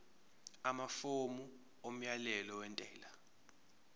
amafomu omyalelo wentela